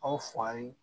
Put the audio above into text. Aw fa ye